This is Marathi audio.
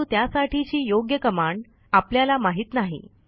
परंतु त्यासाठीची योग्य कमांड आपल्याला माहित नाही